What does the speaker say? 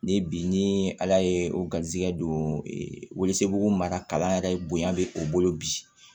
Ni bi ni ala ye o garizigɛ don wele mara kalan yɛrɛ bonya be o bolo bi